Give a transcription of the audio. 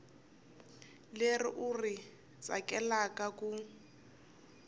leri u ri tsakelaka ku